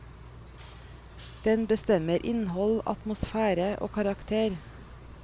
Den bestemmer innhold, atmosfære og karakter.